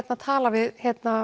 tala við